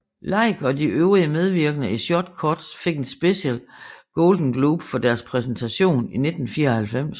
Leigh og de øvrige medvirkende i Short Cuts fik en special Golden Globe for deres præstation i 1994